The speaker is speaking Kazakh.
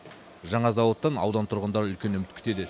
жаңа зауыттан аудан тұрғындары үлкен үміт күтеді